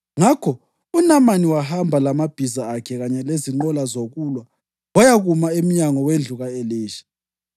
Ngakho uNamani wahamba lamabhiza akhe kanye lezinqola zokulwa wayakuma emnyango wendlu ka-Elisha.